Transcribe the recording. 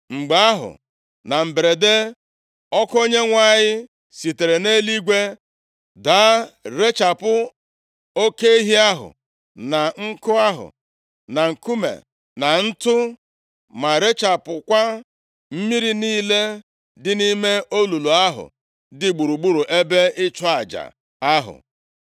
Mgbe ahụ, na mberede, ọkụ Onyenwe anyị sitere nʼeluigwe daa, rechapụ oke ehi ahụ, na nkụ ahụ, na nkume, na ntụ, ma rechapụkwa mmiri niile dị nʼime olulu ahụ dị gburugburu ebe ịchụ aja ahụ.